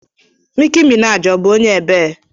Niki Minaji ọ bụ onye ebe?